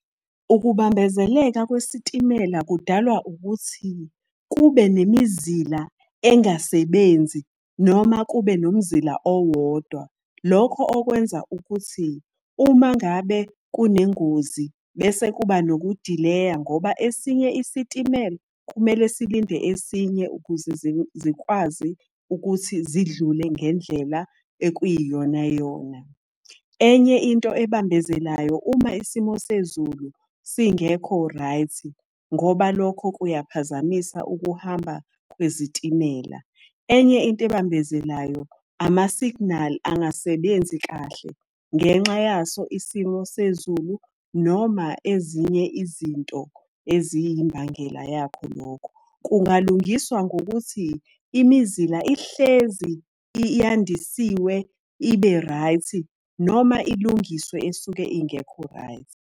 Ukubambezeleka kwesitimela kudalwa ukuthi, kube nemizila engasebenzi noma kube nomzila owodwa. Lokho okwenza ukuthi uma ngabe kunengozi, bese kuba nokudileya ngoba esinye isitimela kumele silinde esinye ukuze zikwazi ukuthi zidlule ngendlela ekuyiyona yona. Enye into ebambezelayo, uma isimo sezulu singekho right, ngoba lokho kuyaphazamisa ukuhamba kwezitimela. Enye into abambezelayo, amasiginali angasebenzi kahle ngenxa yaso isimo sezulu, noma ezinye izinto eziyimbangela yakho lokho. Kungalungiswa ngokuthi imizila ihlezi yandisiwe ibe right, noma ilungiswe esuke ingekho right.